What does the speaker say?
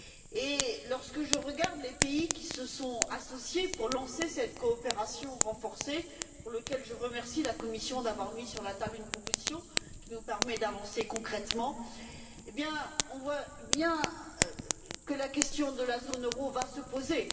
Et lorsque je regarde les pays qui se sont associés pour lancer cette coopération renforcée, pour laquelle je remercie la Commission d'avoir mis sur la table une proposition qui nous permet d'avancer concrètement, on voit bien que la question de la zone euro va se poser.